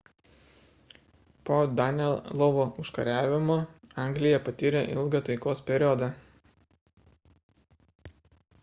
po danelovo užkariavimo anglija patyrė ilgą taikos periodą